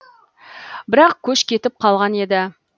бірақ көш кетіп қалған еді